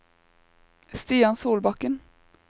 Stian Solbakken